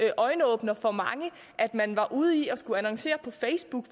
en øjenåbner for mange at man var ude i at skulle annoncere på facebook